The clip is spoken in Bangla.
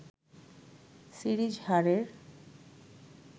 সিরিজ হারের